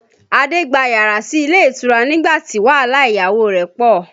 Adé gba yàrá sí ilé ìtura nígbà tí wàhálà ìyàwó rẹ̀ pọ